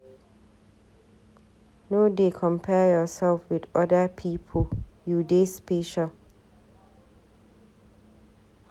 No dey compare yourself with other pipu, you dey special.